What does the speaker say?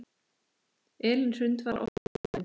Elín Hrund var oftast úfin.